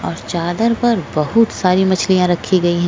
और चादर पर बहुत सारी मछलिया रखी गयि है।